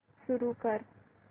सुरू कर